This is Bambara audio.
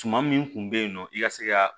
Tuma min kun bɛ yen nɔ i ka se ka